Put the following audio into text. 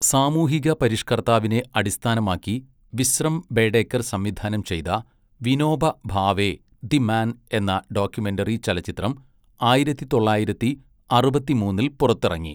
സാമൂഹിക പരിഷ്കർത്താവിനെ അടിസ്ഥാനമാക്കി വിശ്രം ബേഡേക്കർ സംവിധാനം ചെയ്ത വിനോബ ഭാവെ, ദി മാൻ എന്ന ഡോക്യുമെന്ററി ചലച്ചിത്രം ആയിരത്തി തൊള്ളായിരത്തി അറുപത്തിമൂന്നിൽ പുറത്തിറങ്ങി.